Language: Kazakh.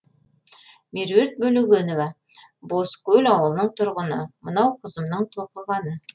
меруерт бөлегенова бозкөл ауылының тұрғыны мынау қызымның тоқығаны